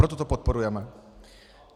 Proto to podporujeme.